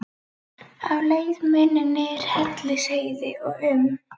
Á leið minn niður Hellisheiði og um